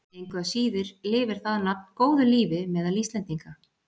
Engu að síður lifir það nafn góðu lífi meðal Íslendinga.